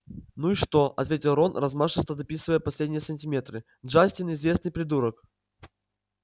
ну и что ответил рон размашисто дописывая последние сантиметры джастин известный придурок